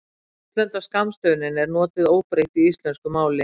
útlenda skammstöfunin er notuð óbreytt í íslensku máli